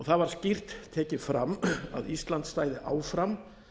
það var skýrt tekið fram að ísland stæði áfram